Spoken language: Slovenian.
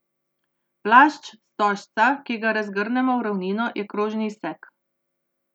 Plašč stožca, ki ga razgrnemo v ravnino, je krožni izsek.